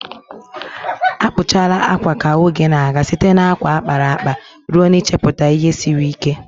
Akpụchala akwa ka oge na-aga, site na akwa a kpara akpa ruo n'ichepụta ihe siri ike.